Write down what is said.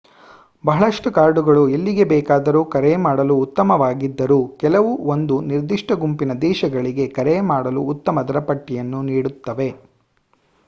ಬಹಳಷ್ಟು ಕಾರ್ಡುಗಳು ಎಲ್ಲಿಗೆ ಬೇಕಾದರೂ ಕರೆ ಮಾಡಲು ಉತ್ತಮವಾಗಿದ್ದರೂ ಕೆಲವು ಒಂದು ನಿರ್ದಿಷ್ಟ ಗುಂಪಿನ ದೇಶಗಳಿಗೆ ಕರೆ ಮಾಡಲು ಉತ್ತಮ ದರ ಪಟ್ಟಿಯನ್ನು ನೀಡುತ್ತವೆ